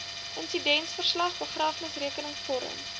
insidentverslag begrafnisrekenings vorm